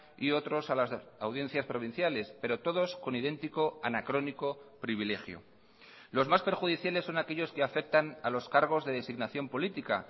y otros a las audiencias provinciales pero todos con idéntico anacrónico privilegio los más perjudiciales son aquellos que afectan a los cargos de designación política